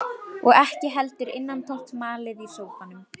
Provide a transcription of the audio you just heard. Og ekki heldur innantómt malið í sófanum.